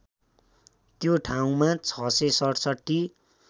यो ठाउँमा ६६७